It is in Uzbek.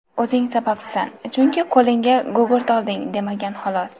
O‘zing sababchisan, chunki qo‘lingga gugurt olding, demagan xolos.